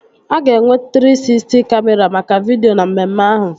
A ga-enwe Trii Sisty Kamịra maka vidio na mmemme ahụ